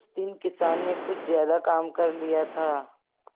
उस दिन किसान ने कुछ ज्यादा काम कर लिया था